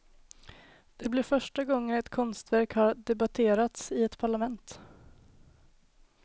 Det blir första gången ett konstverk har debaterats i ett parlament.